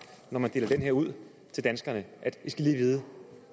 når man deler den her ud til danskerne i skal lige vide